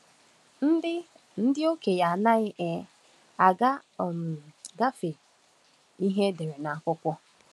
Ndị Ndị okenye anaghị um aga um gafee ihe edere n’akụkọ.